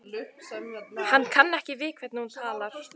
Hann kann ekki við hvernig hún talar.